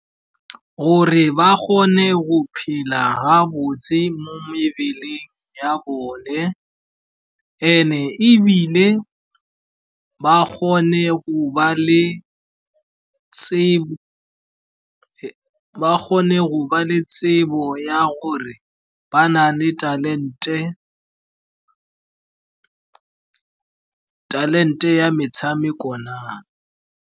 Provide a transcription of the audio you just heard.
Gore ba kgone go phela ha botse mo mebeleng ya bone and-e ebile ba kgone go ba le tsebo ya gore ba na le talente ya metshameko na.